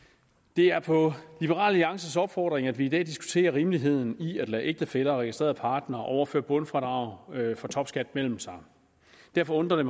det er på liberal alliances opfordring at vi i dag diskuterer rimeligheden i at lade ægtefæller og registrerede partnere overføre bundfradrag for topskat mellem sig derfor undrer det